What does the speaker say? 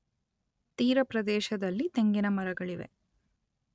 ತೀರ ಪ್ರದೇಶದಲ್ಲಿ ತೆಂಗಿನ ಮರಗಳಿವೆ.